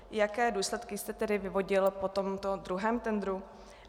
Jaké důsledky jste tedy vyvodil po tomto druhém tendru?